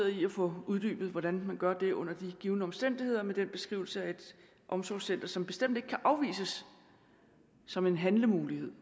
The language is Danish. i at få uddybet hvordan man gør det under de givne omstændigheder med den beskrivelse af et omsorgscenter som bestemt ikke kan afvises som en handlemulighed